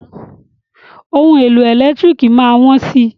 Ohun èlò ẹ̀lẹ́tírìkì má á wọ́n si.